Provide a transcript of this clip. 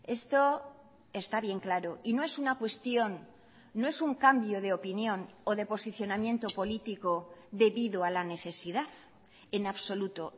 esto está bien claro y no es una cuestión no es un cambio de opinión o de posicionamiento político debido a la necesidad en absoluto